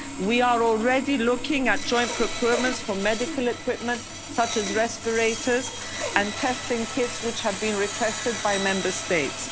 We are already looking at joint procurements for medical equipment, such as respirators and testing kits, which have been requested by Member